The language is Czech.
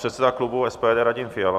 Předseda klubu SPD Radim Fiala.